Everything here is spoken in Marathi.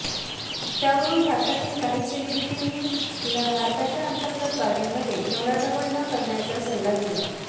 त्यावरून भारतातील काही सेलिब्रिटींनी तिला भारताच्या अंतर्गत बाबींमध्ये ढवळाढवळ न करण्याचा सल्ला दिला